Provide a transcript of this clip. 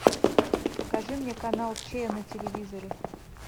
покажи мне канал че на телевизоре